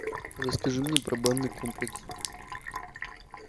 расскажи мне про банный комплекс